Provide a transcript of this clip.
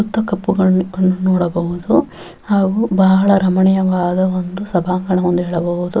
ಸುತ್ತ ಕಪ್ಪು ಗಣ್ಣು ಗಣ್ಣನ್ನು ನೋಡಬಹುದು ಹಾಗು ಬಹಳ ರಮಣೀಯವಾದ ಒಂದು ಸಭಾಂಗಣ ಎಂದು ಹೇಳಬಹುದು.